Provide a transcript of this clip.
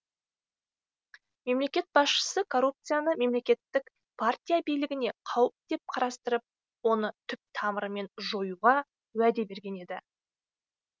мемлекет басшысы коррупцияны коммунистік партия билігіне қауіп деп қарастырып оны түп тамырымен жоюға уәде берген еді